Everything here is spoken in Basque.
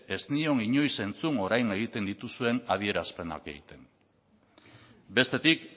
ez nion inoiz entzun orain egiten dituzuen adierazpenak egiten bestetik